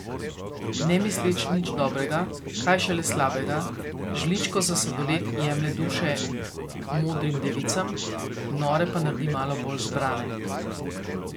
Ne misleč nič dobrega, kaj šele slabega, z žličko za sladoled jemlje duše modrim devicam, nore pa naredi malo bolj zbrane.